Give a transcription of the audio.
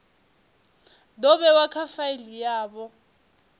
do vhewa kha faili yavho